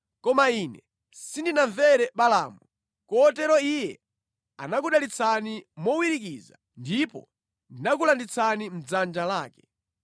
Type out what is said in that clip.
Koma ine sindinamvere Balaamu, kotero iye anakudalitsani mowirikiza ndipo ndinakulanditsani mʼdzanja lake.